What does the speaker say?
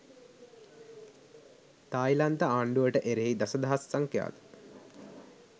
තායිලන්ත ආණ්ඩුවට එරෙහි දස දහස් සංඛ්‍යාත